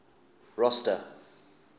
rosta